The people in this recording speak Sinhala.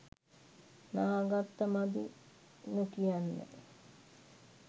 නා ගත්ත මදි නොකියන්න.